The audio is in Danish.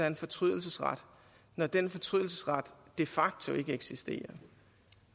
en fortrydelsesret når den fortrydelsesret de facto ikke eksisterer